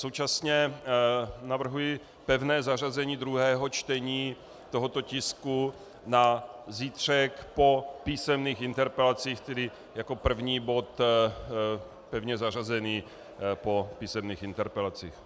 Současně navrhuji pevné zařazení druhého čtení tohoto tisku na zítřek po písemných interpelacích, tedy jako první bod pevně zařazený po písemných interpelacích.